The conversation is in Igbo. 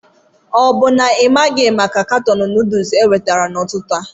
O bụ na ị maghị maka katọn noodles ewetara n'ụtụtụ a?